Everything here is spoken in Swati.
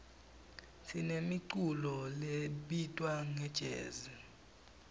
sinemiculo lebitwa ngejezi